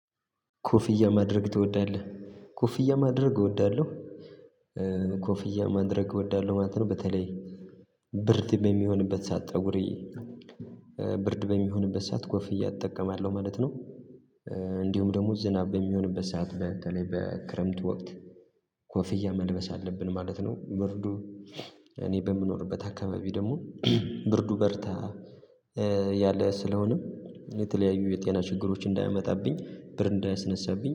ኮፍያ ማድረግ ትወዳለህ? ኮፍያ ማድረግ እወዳለሁ ኮፍያ ማድረግ እወዳለሁ ማለት ነው። በተለይ ብርድ በሚሆንበት ሰዓት ፀጉሬ ብርድ በሚሆንበት ሰዓት ጎፍያ እጠቀማለሁ ማለት ነው። እንዲሁም ደግሞ ዝናብ በሚሆንበት ሰዓት በተለይ በክረምት ወቅት ኮፊያን መልበስ አለብን ማለት ነው። ብርዱ እኔ በምኖርበት አካባቢ ደግሞ ብርዱ በርታ ያለ ስለሆነም የተለያዩ የጤና ችግሮች እንዳያመጣብኝ ብርድ እንዳያስነሳብኝ